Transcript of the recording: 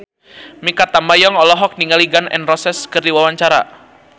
Mikha Tambayong olohok ningali Gun N Roses keur diwawancara